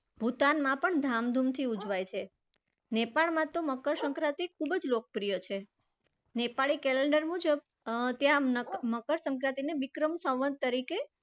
ભૂતાનમાં પણ ધામધુમથી ઉજવાય છે. નેપાળમાં તો મકરસંક્રાંતિ ખુબ જ લોકપ્રિય છે. નેપાળી calendar મુજબ અર ત્યાં મકરસંક્રાંતિને વિક્રમ સંવત તરીકે